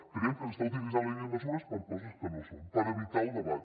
creiem que s’està utilitzant la llei de mesures per a coses que no ho són per evitar el debat